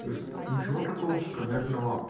ничего такого шагомерного